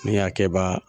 Ne y'a kɛba